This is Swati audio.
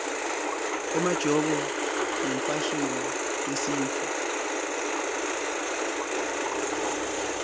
emajobo yimfashini yesintfu